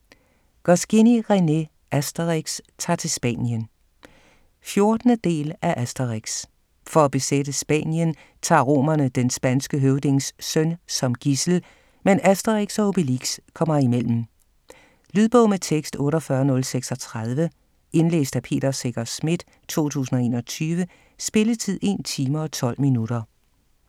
Goscinny, René: Asterix ta'r til Spanien 14. del af Asterix. For at besætte Spanien tager romerne den spanske høvdings søn som gidsel, men Asterix og Obelix kommer imellem. Lydbog med tekst 48036 Indlæst af Peter Secher Schmidt, 2021. Spilletid: 1 time, 12 minutter.